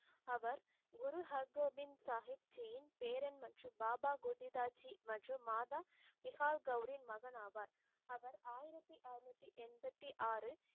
அவர் குரு ஹர்கோவிந்த் சாஹிப் ஜியின் பேரன் மற்றும் பாபாபோதிதாஜி மற்றும் மாதா விஹால்கெளரியின் மகன் ஆவார். அவர் ஆயிரத்தி அறுநூற்றி எண்பத்தி ஆறு